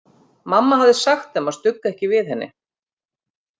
Mamma hafði sagt þeim að stugga ekki við henni.